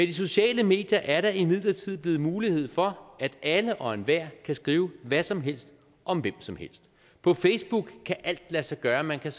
de sociale medier er der imidlertid blevet mulighed for at alle og enhver kan skrive hvad som helst om hvem som helst på facebook kan alt lade sig gøre man kan